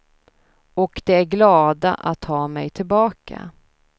Och de är glada att ha mig tillbaka.